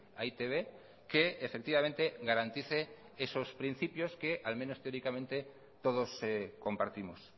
a e i te be que efectivamente garantice esos principios que al menos teóricamente todos compartimos